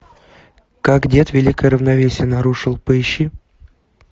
как дед великое равновесие нарушил поищи